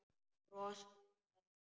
Brosa að mér!